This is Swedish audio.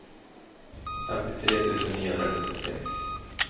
femtiotre tusen niohundrasjuttiosex